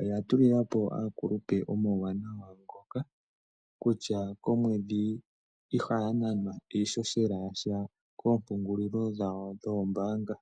oya tulilapo aakulupe omauwanawa ngoka kutya komwedhi ihaya nanwa iishoshela yasha koompungulilo dhawo dhoombaanga.